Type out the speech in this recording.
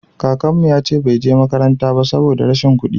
kakanmu ya ce bai je makaranta ba saboda rashin kuɗi